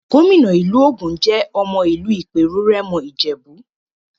Gómìnà ìpínlẹ̀ Ògùn jẹ́ ọmọ ìlú Ìpèrù-Rẹ́mọ Ìjèbú.